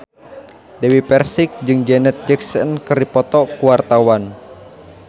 Dewi Persik jeung Janet Jackson keur dipoto ku wartawan